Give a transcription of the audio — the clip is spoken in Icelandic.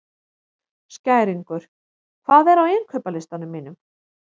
Skæringur, hvað er á innkaupalistanum mínum?